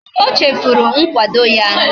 O chefuru nkwado ya